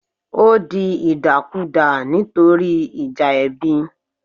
Ó di ìdàkudà nítorí ìjà ẹbí